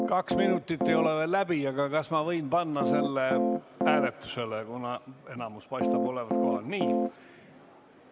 Kaks minutit ei ole veel läbi, aga kas ma võin panna selle hääletusele, kuna enamus paistab olevat kohal?